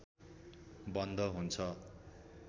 बन्द हुन्छ